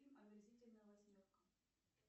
фильм омерзительная восьмерка